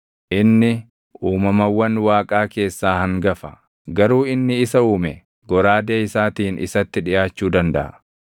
Inni uumamawwan Waaqaa keessaa hangafa; garuu inni isa uume goraadee isaatiin isatti dhiʼaachuu dandaʼa.